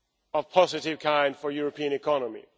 of a positive kind for the European economy.